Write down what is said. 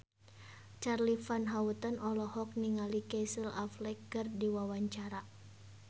Charly Van Houten olohok ningali Casey Affleck keur diwawancara